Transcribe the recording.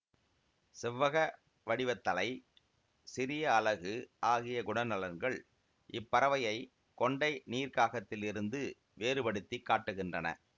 செவ்வக வடிவத்தலை சிறிய அலகு ஆகிய குணநலன்கள் இப்பறவையை கொண்டை நீர்க்காகத்திலிருந்து வேறுபடுத்தி காட்டுகின்றன